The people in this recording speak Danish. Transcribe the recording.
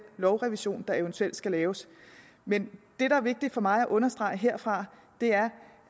lovrevision der eventuelt skal laves men det der er vigtigt for mig at understrege herfra er